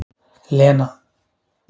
Lena